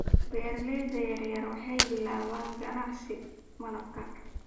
Beeralayda yaryar waxay bilaabaan ganacsi malabka.